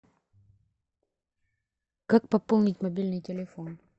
как пополнить мобильный телефон